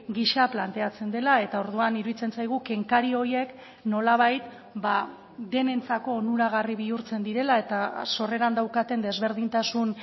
gisa planteatzen dela eta orduan iruditzen zaigu kenkari horiek nolabait denentzako onuragarri bihurtzen direla eta sorreran daukaten desberdintasun